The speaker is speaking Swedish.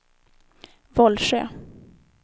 Vollsjö